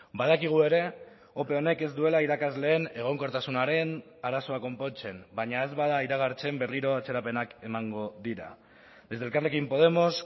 badakigu ere ope honek ez duela irakasleen egonkortasunaren arazoa konpontzen baina ez bada iragartzen berriro atzerapenak emango dira desde elkarrekin podemos